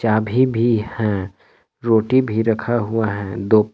अभी भी हैं रोटी भी रखा हुआ है दो--